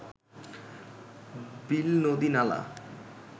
বিল নদী নালা